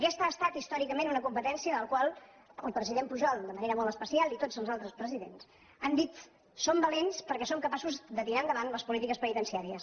aquesta ha estat històricament una competència de la qual el president pujol de manera molt especial i tots els altres presidents han dit som valents perquè som capaços de tirar endavant les polítiques penitenciàries